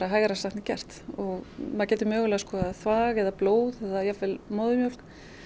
hægara sagt en gert maður getur mögulega skoðað þvag eða blóð eða jafnvel móðurmjólk